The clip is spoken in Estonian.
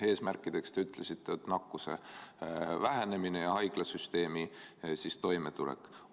Eesmärkideks, te ütlesite, on nakkuse vähenemine ja haiglasüsteemi toimetulek.